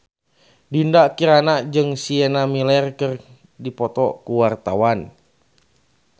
Dinda Kirana jeung Sienna Miller keur dipoto ku wartawan